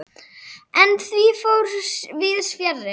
En því fór víðs fjarri.